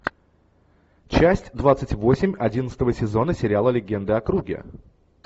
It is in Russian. часть двадцать восемь одиннадцатого сезона сериала легенда о круге